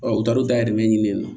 u taar'u dayɛlɛ ɲini